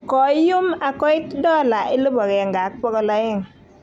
koium ak koiit $1,200.